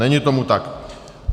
Není tomu tak.